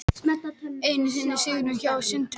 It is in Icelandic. Enn einn sigurinn hjá Sundsvall